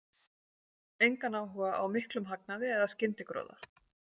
Engan áhuga á miklum hagnaði eða skyndigróða.